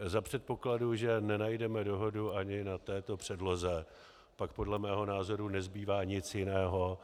Za předpokladu, že nenajdeme dohodu ani na této předloze, pak podle mého názoru nezbývá nic jiného,